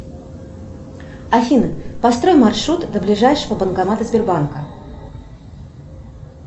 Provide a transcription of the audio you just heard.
афина построй маршрут до ближайшего банкомата сбербанка